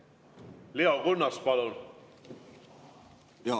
Leo Kunnas, palun!